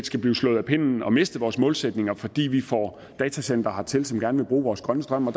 skal blive slået af pinden og miste vores målsætninger fordi vi får datacentre hertil som gerne vil bruge vores grønne strøm